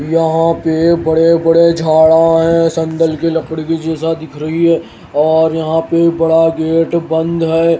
यहां पे बड़े बड़े झाड़ा हैं संदल की लकड़ी की जैसा दिख रही है और यहां पे बड़ा गेट बंद है।